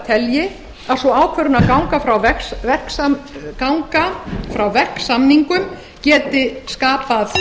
telji að sú ákvörðun að ganga frá verksamningum geti skapað ríkinu skaðabótaskyldu falli